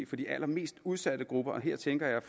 for de allermest udsatte grupper og her tænker jeg